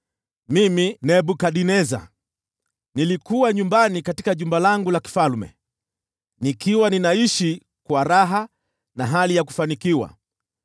Mimi, Nebukadneza, nilikuwa nyumbani katika jumba langu la kifalme, nikiwa ninaishi kwa raha na hali ya kufanikiwa.